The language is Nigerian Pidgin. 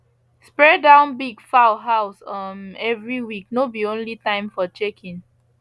spray down big fowl house um every week no be only time for checking